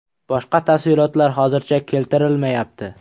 Boshqa tafsilotlar hozircha keltirilmayapti.